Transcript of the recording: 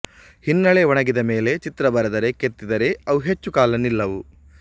ಹಿನ್ನೆಲೆ ಒಣಗಿದ ಮೇಲೆ ಚಿತ್ರ ಬರೆದರೆ ಕೆತ್ತಿದರೆ ಅವು ಹೆಚ್ಚು ಕಾಲ ನಿಲ್ಲವು